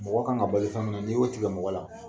Mɔgɔ kan ka balo fɛn min na ni y'o tigɛ mɔgɔ la.